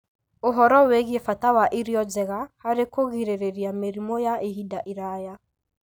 ũhoro wĩgiĩ bata wa irio njega harĩ kũgirĩrĩria mĩrimũ ya ihinda iraya.